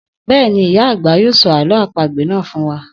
Bẹ́ẹ̀ni, ìyá àgbà yóò sọ àlọ́ àpagbè náà fún wa